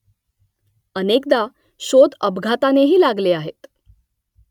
अनेकदा शोध अपघातानेही लागले आहेत